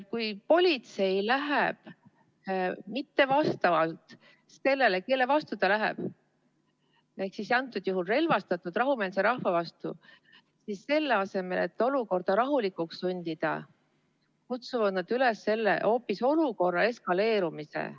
Kui politsei ei tegutse vastavalt sellele, kelle vastu ta läheb, ehk siis antud juhul relvastatult rahumeelse rahva vastu, siis selle asemel et olukorda rahulikuks sundida, kutsuvad nad üles hoopis olukorra eskaleerumise.